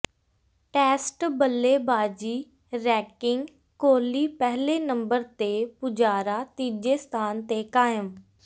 test ਬੱਲੇਬਾਜ਼ੀ ranking Kohli ਪਹਿਲੇ number ਤੇ ਪੁਜਾਰਾ ਤੀਜੇ ਸਥਾਨ ਤੇ ਕਾਇਮ